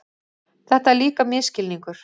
Þetta er líka misskilningur.